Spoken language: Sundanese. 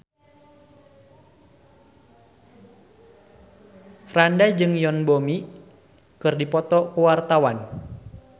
Franda jeung Yoon Bomi keur dipoto ku wartawan